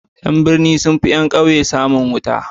Yan birni sunfi yan ƙauye samun wuta